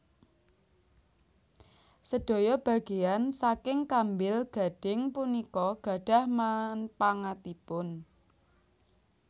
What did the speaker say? Sedaya bageyan saking kambil gading punika gadhah manpangatipun